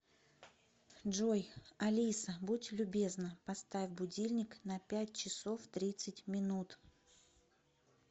джой алиса будь любезна поставь будильник на пять часов тридцать минут